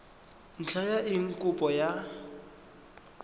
ntlha ya eng kopo ya